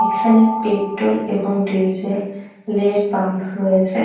এখানে পেট্রল এবং ডিজেল এর পাম্প রয়েছে ।